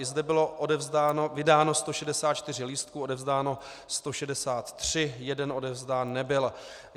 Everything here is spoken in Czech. I zde bylo vydáno 164 lístků, odevzdáno 163, jeden odevzdán nebyl.